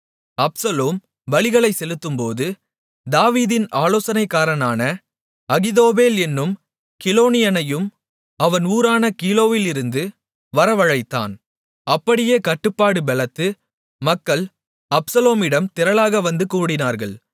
Absalom பலிகளைச் செலுத்தும்போது தாவீதின் ஆலோசனைக்காரனான அகித்தோப்பேல் என்னும் கிலோனியனையும் அவன் ஊரான கீலோவிலிருந்து வரவழைத்தான் அப்படியே கட்டுப்பாடு பெலத்து மக்கள் அப்சலோமிடம் திரளாக வந்து கூடினார்கள்